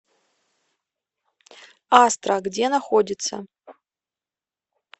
астра где находится